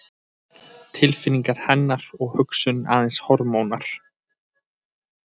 Tilfinningar hennar og hugsun aðeins hormónar?